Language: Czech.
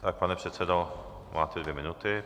Tak, pane předsedo, máte dvě minuty.